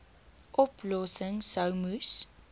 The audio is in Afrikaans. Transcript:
oplossings sou moes